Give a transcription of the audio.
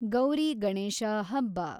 ಗೌರಿ ಗಣೇಶ ಹಬ್ಬ